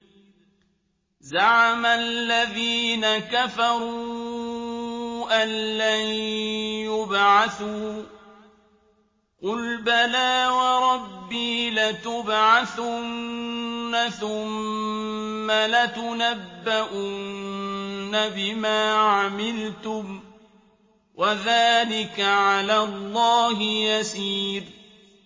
زَعَمَ الَّذِينَ كَفَرُوا أَن لَّن يُبْعَثُوا ۚ قُلْ بَلَىٰ وَرَبِّي لَتُبْعَثُنَّ ثُمَّ لَتُنَبَّؤُنَّ بِمَا عَمِلْتُمْ ۚ وَذَٰلِكَ عَلَى اللَّهِ يَسِيرٌ